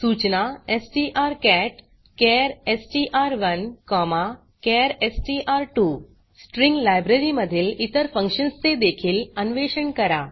सूचना strcatचार एसटीआर1 चार एसटीआर2 स्ट्रिंग लायब्ररी मधील इतर फंक्शन्स् चे देखील अन्वेषण करा